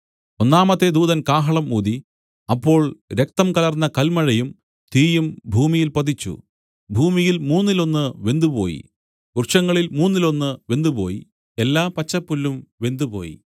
ഒന്നാമത്തെ ദൂതൻ കാഹളം ഊതി അപ്പോൾ രക്തം കലർന്ന കൽമഴയും തീയും ഭൂമിയിൽ പതിച്ചു ഭൂമിയിൽ മൂന്നിലൊന്നു വെന്തുപോയി വൃക്ഷങ്ങളിൽ മൂന്നിലൊന്നു വെന്തുപോയി എല്ലാ പച്ചപ്പുല്ലും വെന്തുപോയി